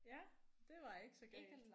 Ja det var ikke så galt